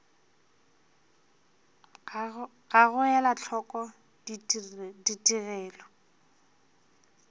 ga go ela hloko ditigelo